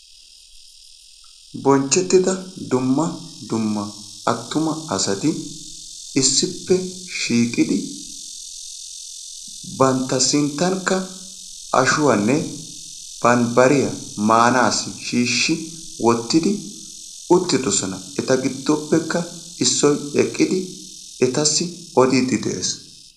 Bonchchetida dumma dumma artuma asati issippe shiiqidi bantta sinttankka ashuwanne bambbariya maanassi shiishshidi utridoosona. Eta giddoppekka issoy eqqidi etassi odiide de'ees.